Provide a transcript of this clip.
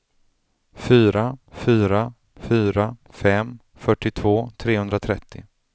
fyra fyra fyra fem fyrtiotvå trehundratrettio